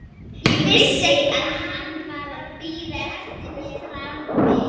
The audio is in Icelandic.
Ég vissi að hann var að bíða eftir mér frammi.